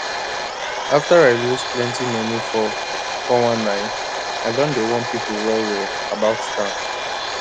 after i lose plenty money for 419 i don dey warn people well well about scam